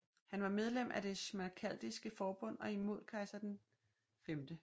Han var medlem af det Schmalkaldiske forbund og imod kejser Karl 5